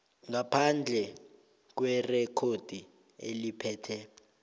ngaphandle kwerekhodi eliphethe